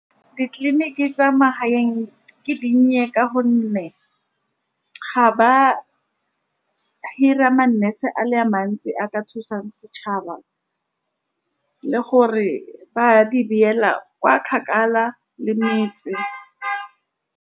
Ditleliniki tsa magaeng, di dinnye ka gonne ga ba hira ma-nurse a le mantsi a ka thusang setšhaba le gore ba di beela kwa kgakala le metse.